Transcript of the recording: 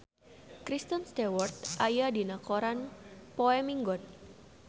Kristen Stewart aya dina koran poe Minggon